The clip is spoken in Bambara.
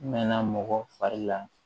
N mɛn na mɔgɔ fari la